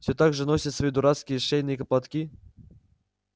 всё так же носит свои дурацкие шейные платки